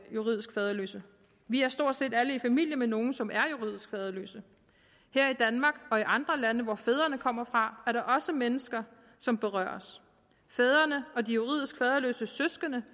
juridisk faderløse vi er stort set alle i familie med nogle som er juridisk faderløse her i danmark og i andre lande hvor fædrene kommer fra er der også mennesker som berøres fædrene og de juridisk faderløses søskende